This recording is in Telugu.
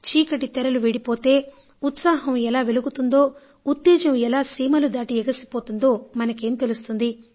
చీకటి తెరలు వీడిపోతే ఉత్సాహం ఎలా వెలుగుతుందో ఉత్తేజం ఎలా సీమలు దాటి ఎగసిపోతుందో మనకి ఏం తెలుస్తుంది